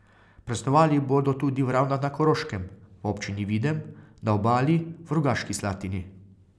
Praznovali bodo tudi v Ravnah na Koroškem, v občini Videm, na Obali, v Rogaški Slatini ...